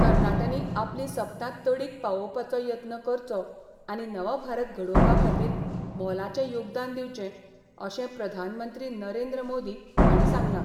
तरणाट्यांनी आपली सपनां तडीक पावोवपाचो यत्न करचो आनी नवभारत घडोवपा खातीर मोलाचें योगदान दिवचें अशें प्रधानमंत्री नरेंद्र मोदी हांणी सांगलां.